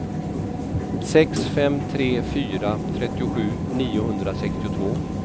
sex fem tre fyra trettiosju niohundrasextiotvå